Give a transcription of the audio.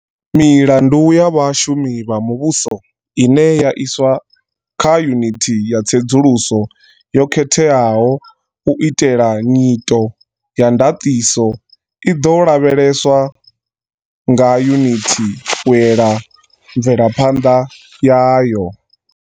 Milandu ya vha shumi vha muvhuso ine ya iswa kha yunithi ya tsedzuluso yo khetheaho u itela nyito ya ndaṱiso i ḓo lavheleswa nga yunithi u ela mvelaphanḓa yayo.